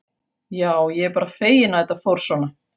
Já, ég er bara feginn að þetta fór svona.